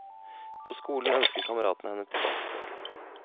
På skolen ønsker kameratene henne tilbake i flokken.